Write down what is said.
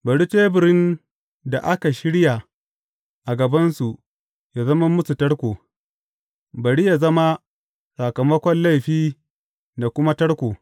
Bari teburin da aka shirya a gabansu yă zama musu tarko; bari yă zama sakamakon laifi da kuma tarko.